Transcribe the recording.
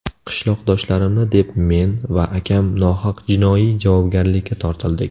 Qishloqdoshlarimni deb men va akam nohaq jinoiy javobgarlikka tortildik.